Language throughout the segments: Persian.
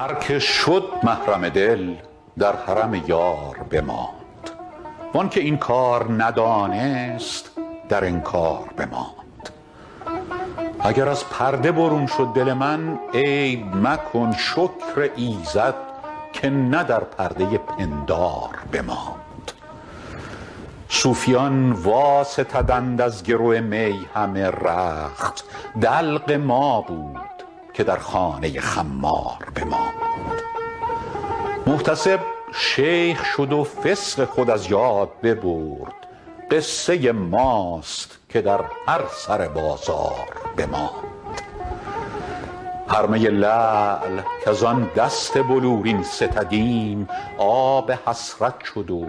هر که شد محرم دل در حرم یار بماند وان که این کار ندانست در انکار بماند اگر از پرده برون شد دل من عیب مکن شکر ایزد که نه در پرده پندار بماند صوفیان واستدند از گرو می همه رخت دلق ما بود که در خانه خمار بماند محتسب شیخ شد و فسق خود از یاد ببرد قصه ماست که در هر سر بازار بماند هر می لعل کز آن دست بلورین ستدیم آب حسرت شد و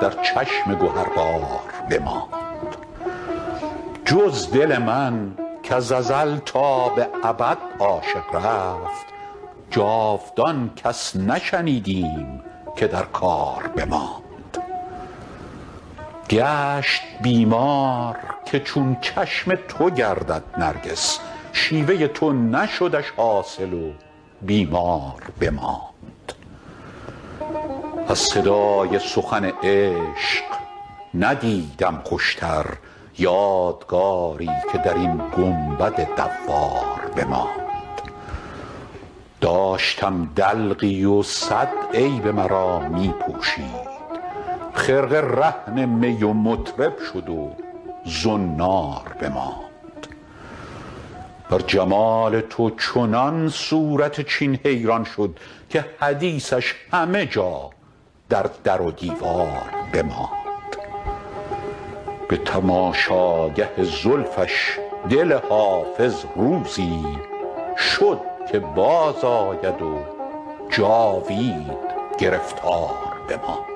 در چشم گهربار بماند جز دل من کز ازل تا به ابد عاشق رفت جاودان کس نشنیدیم که در کار بماند گشت بیمار که چون چشم تو گردد نرگس شیوه تو نشدش حاصل و بیمار بماند از صدای سخن عشق ندیدم خوشتر یادگاری که در این گنبد دوار بماند داشتم دلقی و صد عیب مرا می پوشید خرقه رهن می و مطرب شد و زنار بماند بر جمال تو چنان صورت چین حیران شد که حدیثش همه جا در در و دیوار بماند به تماشاگه زلفش دل حافظ روزی شد که بازآید و جاوید گرفتار بماند